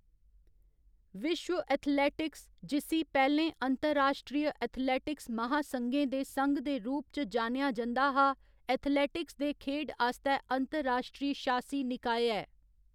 विश्व एथलेटिक्स, जिस्सी पैह्‌लें अंतर्राश्ट्रीय एथलेटिक्स महासंघें दे संघ दे रूप च जानेआ जंदा हा, एथलेटिक्स दे खेढ आस्तै अंतर्राश्ट्रीय शासी निकाय ऐ।